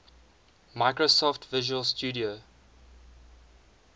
microsoft visual studio